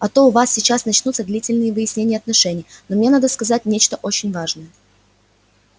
а то у вас сейчас начнутся длительные выяснения отношений но мне надо сказать нечто очень важное